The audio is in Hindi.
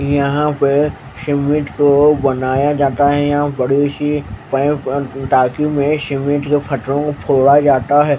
यहाँ पे सिमिट को बनाया जाता है या बड़ी सी पाइप टाकी में सिमिट के फटरों को फोड़ा जाता है।